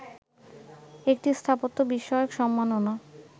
একটি স্থাপত্য বিষয়ক সম্মাননা